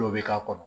Dɔw bɛ k'a kɔnɔ